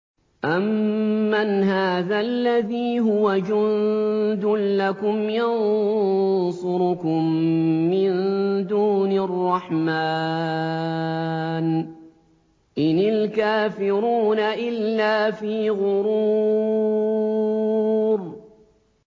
أَمَّنْ هَٰذَا الَّذِي هُوَ جُندٌ لَّكُمْ يَنصُرُكُم مِّن دُونِ الرَّحْمَٰنِ ۚ إِنِ الْكَافِرُونَ إِلَّا فِي غُرُورٍ